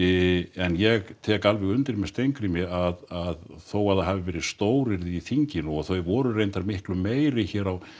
en ég tek alveg undir með Steingrími að þó að það hafi verið stóryrði í þinginu og þau voru reyndar miklu meiri hér á